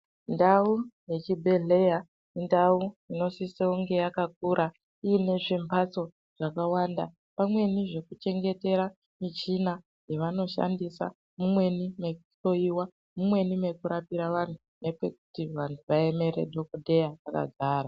Ndau yechibhedhleya indau inosisonge yakakura ine zvimhatso zvakawanda pamweni zvekuchengetera muchina yavanoshandisa mumweni mwekuhloiwa mumweni mwekurapira anhu nepekuti vanhu vaemere dhokodheya vakagara.